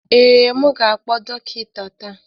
Ee, m ga-akpọ dọkịta taa